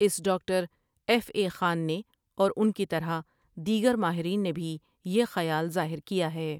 Us doctor F A Khan نے اور ان کی طرح دیگر ماہرین نے بھی یہ خیال ظاہر کیا ہے ۔